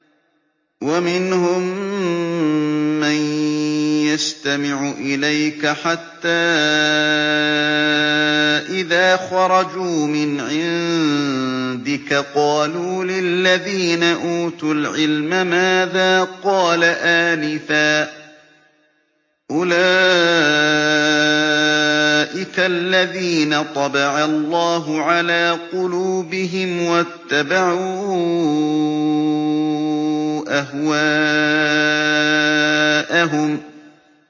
وَمِنْهُم مَّن يَسْتَمِعُ إِلَيْكَ حَتَّىٰ إِذَا خَرَجُوا مِنْ عِندِكَ قَالُوا لِلَّذِينَ أُوتُوا الْعِلْمَ مَاذَا قَالَ آنِفًا ۚ أُولَٰئِكَ الَّذِينَ طَبَعَ اللَّهُ عَلَىٰ قُلُوبِهِمْ وَاتَّبَعُوا أَهْوَاءَهُمْ